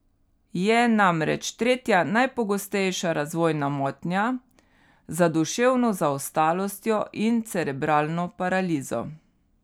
Je namreč tretja najpogostejša razvojna motnja, za duševno zaostalostjo in cerebralno paralizo.